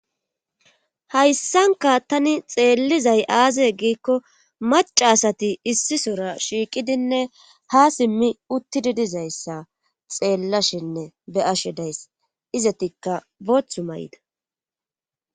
Hayssanka tani xeellizay aaze giikko macaasati issi sora shiiqidinne ha simmi uttidi dizayssa xeellashinne be ashe days izetikka booththu may'ida.